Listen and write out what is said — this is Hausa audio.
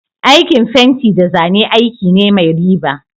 Aikin fenti da zane aiki ne mai riba.